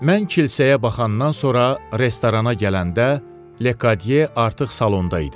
Mən kilsəyə baxandan sonra restorana gələndə Lekadye artıq salonda idi.